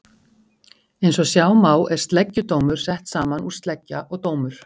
Eins og sjá má er sleggjudómur sett saman úr sleggja og dómur.